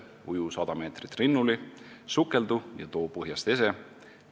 Uju 100 meetrit rinnuli, sukeldu ja too põhjast ese.